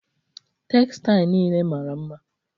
Tegzail nile mara mma